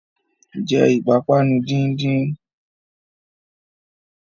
Jẹ́ ìpápánu díndín!